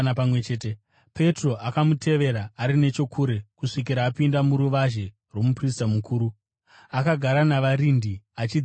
Petro akamutevera ari nechokure, kusvikira apinda muruvazhe rwomuprista mukuru. Akagara navarindi achidziya moto.